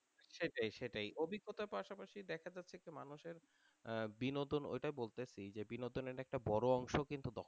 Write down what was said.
সেটাই সেটাই অভিজ্ঞতা পাশাপাশি দেখা যাচ্ছে যে আহ মানুষের বিনোদন ওইটা বলতেছি যে বিনোদনের একটা বড়